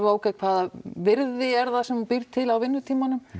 á ókei hvaða virði er það sem þú býrð til á vinnutímanum